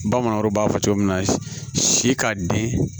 Bamananw b'a fɔ cogo min na si ka den